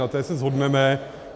Na té se shodneme.